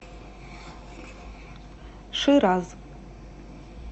шираз